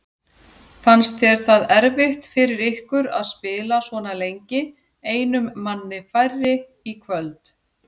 Fannst þér það erfitt fyrir ykkur að spila svona lengi einum manni færri í kvöld?